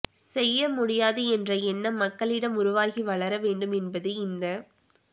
செய்ய முடியாது என்ற எண்ணம் மக்களிடம் உருவாகி வளர வேண்டும் என்பது இந்த